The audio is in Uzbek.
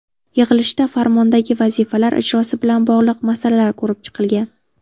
Yig‘ilishda farmondagi vazifalar ijrosi bilan bog‘liq masalalar ko‘rib chiqilgan.